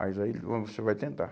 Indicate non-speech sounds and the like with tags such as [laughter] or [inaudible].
Mas aí [unintelligible] você vai tentar.